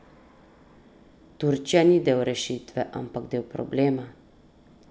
Turčija ni del rešitve ampak del problema.